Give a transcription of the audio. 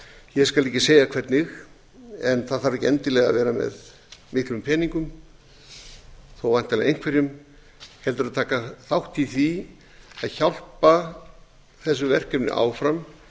ég skal ekki segja hvernig en það þarf ekki endilega að vera með miklum peningum þó væntanlega einhverjum heldur að taka þátt í því að hjálpa þessu verkefni áfram